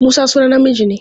Musa sunan namiji ne.